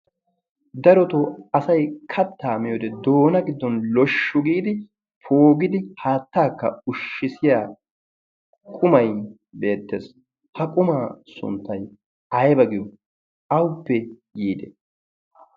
darotoo asai kattaa miyode doona giddon loshshu giidi poogidi haattaakka ushshisiya qumai beettees ha qumaa sunttai aiba giyo? auppe yiide?